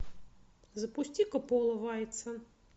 запусти ка пола вайтса